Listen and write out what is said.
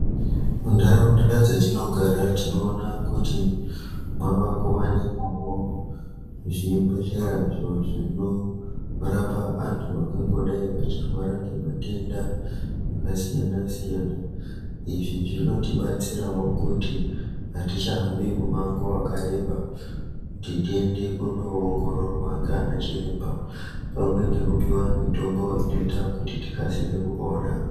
Mundaraunda dzetinogara tinoona kuti mavakuwanikwawo zvibhedhlera zvinorapa antu angangodai echirwara ngema tenda akasiyana siyana izvi zvinotibatsirawo kuti hatichahambi mumango wakareba kuti tiende kuno ongororwa nganachiremba pamwe nekupiwa mitombo inoita kuti tikasike kupora